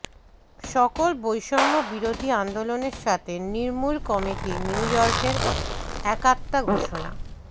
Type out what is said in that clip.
সকল বৈষম্য বিরোধী আন্দোলনের সাথে নির্মূল কমিটি নিউইয়র্কের একাত্মতা ঘোষণা